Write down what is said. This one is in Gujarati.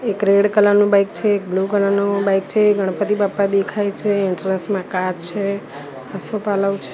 એક રેડ કલર નું બાઈક છે એક બ્લુ કલર નું બાઈક છે ગણપતિ બાપ્પા દેખાય છે એન્ટ્રેન્સ માં કાર છે આસોપાલવ છ--